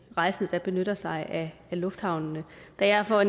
rejsende der benytter sig af lufthavnene da jeg for